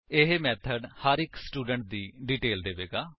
ਇਹ ਮੇਥਡ ਹਰ ਇੱਕ ਸਟੂਡੈਂਟ ਦੀ ਡੀਟੇਲ ਦੇਵੇਗਾ